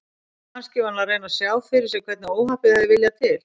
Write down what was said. Kannski var hann að reyna að sjá fyrir sér hvernig óhappið hafði viljað til.